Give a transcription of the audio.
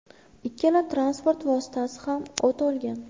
Ikkala transport vositasi ham o‘t olgan.